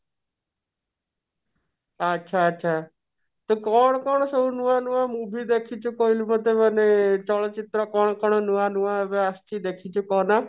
ଆଚ୍ଛା ଆଚ୍ଛା ତ କଣ କଣ ସବୁ ନୂଆ ନୂଆ movie ଦେଖିଛୁ କହିଲୁ ସବୁତକ ମାନେ ଚଳଚିତ୍ର କଣ କଣ ନୂଆ ନୂଆ ଏବେ ଆସିଛି ଦେଖିଛୁ କହ ନା